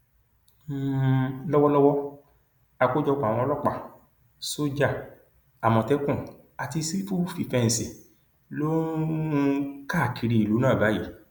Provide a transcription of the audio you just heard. um lọwọlọwọ àkójọpọ àwọn ọlọpàá sójà àmọtẹkùn àti sífù fífẹǹsì ló um ń káàkiri ìlú náà báyìí